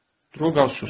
Drouqa susdu.